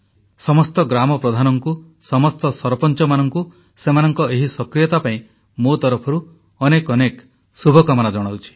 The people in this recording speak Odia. ସମସ୍ତ ଗ୍ରାମପ୍ରଧାନଙ୍କୁ ସମସ୍ତ ସରପଞ୍ଚମାନଙ୍କୁ ସେମାନଙ୍କ ଏହି ସକ୍ରିୟତା ପାଇଁ ମୋ ତରଫରୁ ଅନେକ ଅନେକ ଶୁଭକାମନା ଜଣାଉଛି